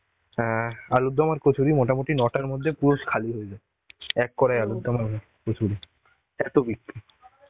অ্যাঁ আলুর দম আর কচুরি মোটামুটি নটার মধ্যে পুরো খালি হয়ে যায়. এক কড়াই আলুর দম হবে কচুরি. এত বিক্রি.